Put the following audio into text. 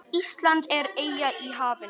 Ísland er eyja í hafinu.